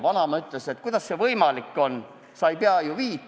Vanaema ütles, kuidas see võimalik on, ta ei pea ju viisi.